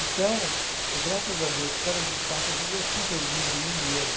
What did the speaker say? Então, eu graças a Deus, cada dia que passa, eu sinto orgulho de mim mesmo.